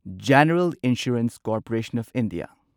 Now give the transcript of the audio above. general insurance corporation of India